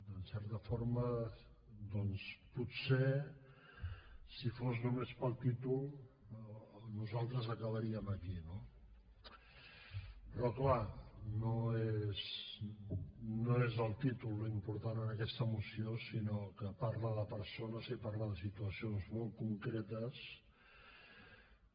en certa forma doncs potser si fos només pel títol nosaltres acabaríem aquí no però clar no és el títol l’important en aquesta moció sinó que parla de persones i parla de situacions molts concretes que